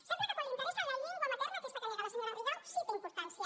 sembla que quan li interessa la llengua materna aquesta que nega la senyora rigau sí que té importància